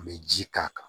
An bɛ ji k'a kan